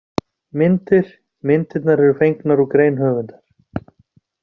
Myndir: Myndirnar eru fengnar úr grein höfundar.